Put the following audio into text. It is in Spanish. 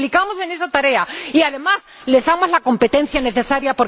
Los implicamos en esa tarea y, además, les damos la competencia necesaria.